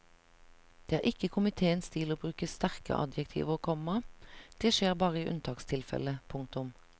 Det er ikke komitéens stil å bruke sterke adjektiver, komma det skjer bare i unntakstilfelle. punktum